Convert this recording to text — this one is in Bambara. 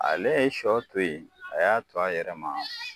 Ale ye sɔ to ye, a y'a to a yɛrɛ ma